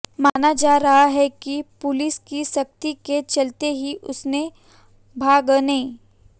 माना जा रहा है कि पुलिस की सख्ती के चलते ही उसने भागने